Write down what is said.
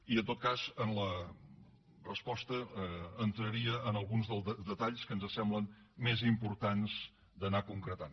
i en tot cas en la resposta entraria en alguns dels detalls que ens semblen més importants d’anar concretant